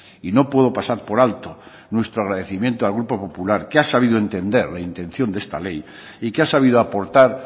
y no puedo pasar por alto nuestro agradecimiento al grupo popular que ha sabido entender la intención de esta ley y que ha sabido aportar